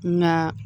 Nka